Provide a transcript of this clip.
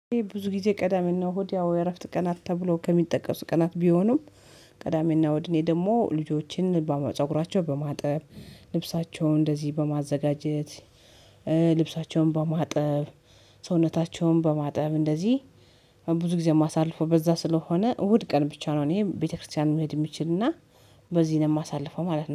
ብዙ ጊዜ ቀዳሜና እሁድ ያው የእረፍት ቀናት ተብሎ ከሚጠቀሱት ቀናት ቢሆኑም። ቀዳሜና እሁድ እኔ ደግሞ ልጆችን በማፀጉራቸው በማጠብ ልብሳቸውን እንደዚህ በማዘጋጀት ልብሳቸውን በማጠብ ሰውነታቸውን በማጠብ እንደዚህ። ብዙ ጊዜ ማሳልፈው በዛ ስለሆነ እሁድ ቀን ብቻ ነው እኔ ቤተክርስቲያን መሄድ የምችልና በዚህ ነው የማሳልፈው ማለት ነው